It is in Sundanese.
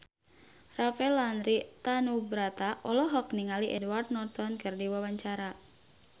Rafael Landry Tanubrata olohok ningali Edward Norton keur diwawancara